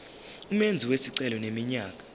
umenzi wesicelo eneminyaka